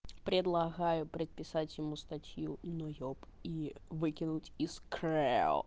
предлагаю предписать ему статью ноеб и выкинуть из крэо